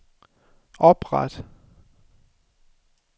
opret